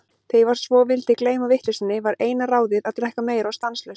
Þegar ég svo vildi gleyma vitleysunni, var eina ráðið að drekka meira og stanslaust.